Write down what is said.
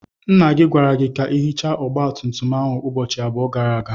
Nna gi gwara gi ka ihicha ogba tum tum ahu ubochi abuo gara aga.